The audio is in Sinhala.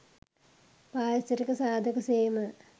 පාරිසරික සාධක සේම,